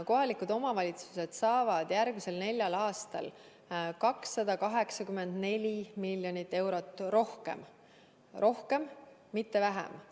Kohalikud omavalitsused saavad järgmisel neljal aastal 284 miljonit eurot rohkem – rohkem, mitte vähem.